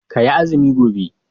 Ka yi azumi gobe